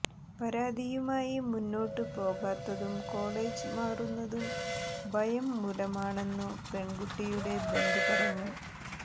പരാതിയുമായി മുന്നോട്ട് പോകാത്തതും കോളേജ് മാറുന്നതും ഭയം മൂലമാണെന്നു പെൺകുട്ടിയുടെ ബന്ധു പറഞ്ഞു